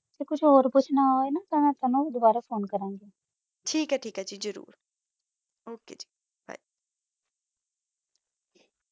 ਕੁਛ ਓਰ ਓਚਨਾ ਤਾ ਮਾ ਦੋਬਾਰਾ ਫੋਨੇ ਕਰ ਦੀ